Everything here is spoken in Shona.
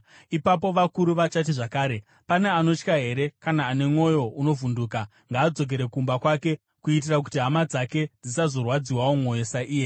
Ipapo vakuru vachati zvakare, “Pane anotya here kana ane mwoyo unovhunduka? Ngaadzokere kumba kwake kuitira kuti hama dzake dzisazorwadziwawo mwoyo saiye.”